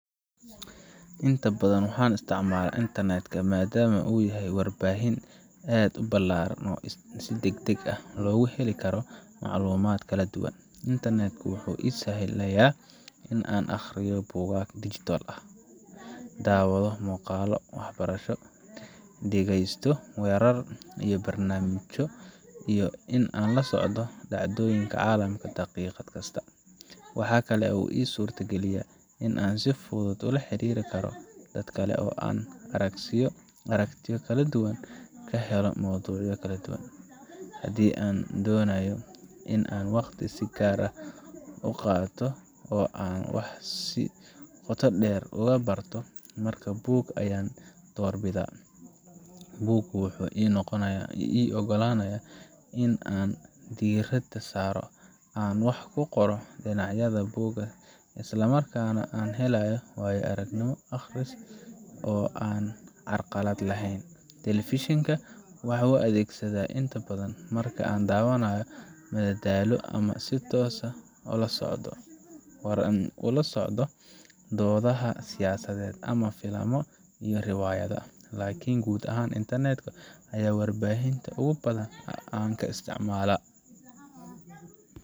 Inta badan waxaan isticmaalaa internet ka maadaama uu yahay warbaahin aad u ballaaran oo si degdeg ah loogu heli karo macluumaad kala duwan. internet ku wuxuu ii sahlayaa in aan akhriyo buugaag digital ah, daawado muuqaallo waxbarasho, dhegaysto warar iyo barnaamijyo, iyo in aan la socdo dhacdooyinka caalamka daqiiqad kasta. Waxa kale oo uu ii suurto geliyaa in aan si fudud ula xiriiri karo dad kale, oo aan aragtiyo kala duwan ka helo mowduucyo kala duwan. Haddii aan doonayo in aan waqti si gaar ah u qaato oo aan wax si qoto dheer uga barto, markaa buug ayaan doorbidaa. Buuggu wuxuu ii ogolaanayaa in aan diiradda saaro, aan wax ku qoro dhinacyada buugga, isla markaana aan helayo waayo aragnimo akhris oo aan carqalad lahayn. Telefishinka waxaan u adeegsadaa inta badan marka aan doonayo madadaalo ama si toos ah ula socodka wararka. Wuxuu ii yahay il dheeri ah oo aan mararka qaar ka daawado dhacdooyin waaweyn sida ciyaaraha, doodaha siyaasadeed, ama filimada iyo riwaayadaha. Laakiin guud ahaan, internet ka ayaa ah warbaahinta ugu badan ee aan isticmaalaa